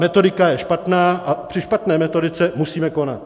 Metodika je špatná a při špatné metodice musíme konat.